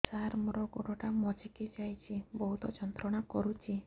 ସାର ମୋର ଗୋଡ ଟା ମଛକି ଯାଇଛି ବହୁତ ଯନ୍ତ୍ରଣା କରୁଛି